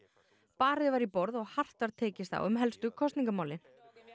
barið var í borð og hart var tekist á um helstu kosningamálin